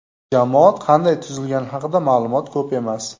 Jamoat qanday tuzilgani haqida ma’lumot ko‘p emas.